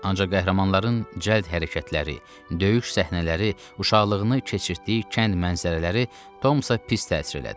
Ancaq qəhrəmanların cəld hərəkətləri, döyüş səhnələri, uşaqlığını keçirtdiyi kənd mənzərələri Tomsa pis təsir elədi.